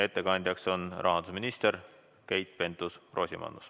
Ettekandja on rahandusminister Keit Pentus-Rosimannus.